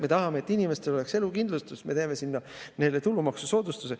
Me tahame, et inimestel oleks elukindlustus, ja me teeme sinna nende tulumaksusoodustuse.